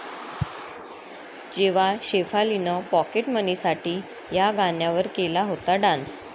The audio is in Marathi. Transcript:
जेव्हा शेफालीनं पाॅकेटमनीसाठी 'या' गाण्यावर केला होता डान्स